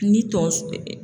Ni tonso